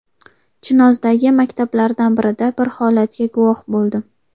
Chinozdagi maktablardan birida bir holatga guvoh bo‘ldim.